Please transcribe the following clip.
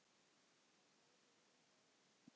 Þetta urðu löng átök.